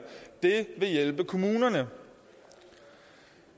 det vil hjælpe kommunerne